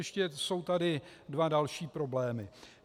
Ještě jsou tady dva další problémy.